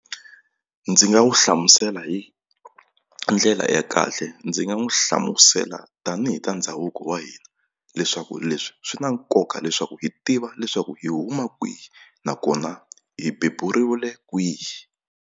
Ndzi nga n'wi hlamusela hi ndlela ya kahle ndzi nga n'wi hlamusela tanihi ta ndhavuko wa hina leswaku leswi swi na nkoka leswaku hi tiva leswaku hi huma kwihi nakona hi beburiwile kwihi.